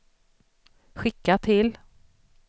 skicka till